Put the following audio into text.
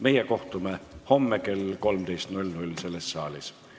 Meie kohtume homme kell 13 selles saalis.